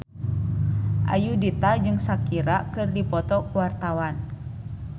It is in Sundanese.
Ayudhita jeung Shakira keur dipoto ku wartawan